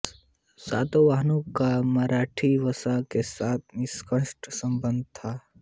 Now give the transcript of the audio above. सातवाहनों का महारठी वंश के साथ घनिष्ठ संबंध था